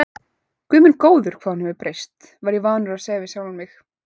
Guð minn góður, hvað hún hefur breyst, var ég vanur að segja við sjálfan mig.